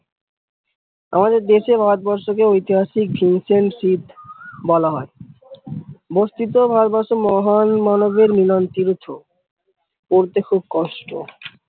আমাদের দেশে ভারতবর্ষ কে ঐতিহাসিক ship বলা হয় বস্তিত ভারতবর্ষ মহান মানবের মিলন বলতে খুব কষ্ট।